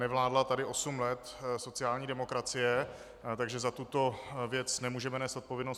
Nevládla tady osm let sociální demokracie, takže za tuto věc nemůžeme nést odpovědnost.